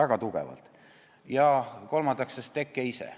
Ja kolmandaks siis piirikaubanduse teke ise.